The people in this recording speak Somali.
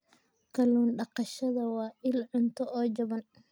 Kallun daqashada waa il cunto oo jaban.